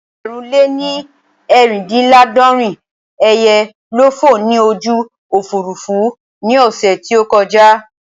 Ẹgbẹ̀rún lè ní eerindinlaadorin ẹyẹ ló fò ní ojú Òfurufú ní ọ̀sẹ̀ tí ó kọjà